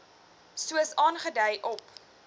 soos aangedui op